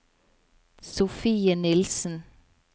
Sofie Nilsen